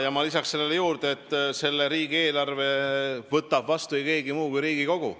Jaa, ma lisaksin sellele, et riigieelarve võtab vastu ei keegi muu kui Riigikogu.